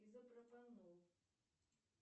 изопропанол